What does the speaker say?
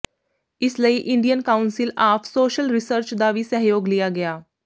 ਇਸ ਲਈ Indian council of social research ਦਾ ਵੀ ਸਹਿਯੋਗ ਲਿਆ ਗਿਆ